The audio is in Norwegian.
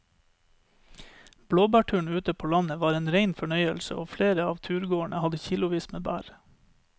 Blåbærturen ute på landet var en rein fornøyelse og flere av turgåerene hadde kilosvis med bær.